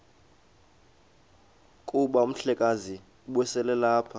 kuba umhlekazi ubeselelapha